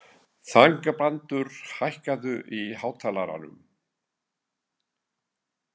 Þangbrandur, hækkaðu í hátalaranum.